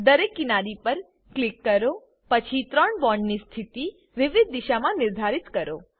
દરેક કિનારી પર ક્લિક કરોપછી ત્રણ બોન્ડ ની સ્થિતિ વિવિધ દિશા માં નિર્ધારિત કરો